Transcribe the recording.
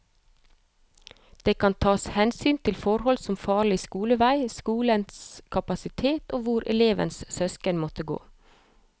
Det kan tas hensyn til forhold som farlig skolevei, skolenes kapasitet og hvor elevens søsken måtte gå.